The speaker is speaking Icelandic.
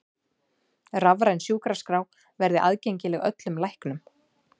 Rafræn sjúkraskrá verði aðgengileg öllum læknum